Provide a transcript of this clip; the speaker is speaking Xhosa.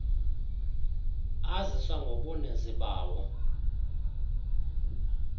aziswa ngobuninzi bawo